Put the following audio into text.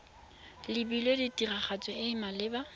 lebilwe tiragatso e e maleba